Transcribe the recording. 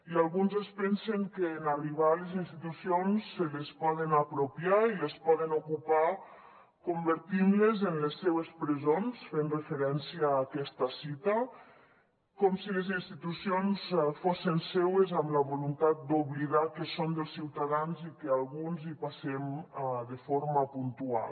i alguns es pensen que en arribar a les institucions se les poden apropiar i les poden ocupar convertint les en les seves presons fent referència a aquesta cita com si les institucions fossin seues amb la voluntat d’oblidar que són dels ciutadans i que alguns hi passem de forma puntual